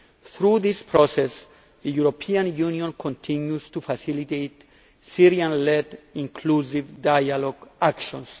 Through this process the European Union continues to facilitate Syrian led inclusive dialogue actions.